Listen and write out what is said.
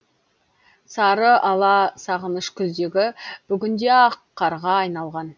сары ала сағыныш күздегі бүгінде ақ қарға айналған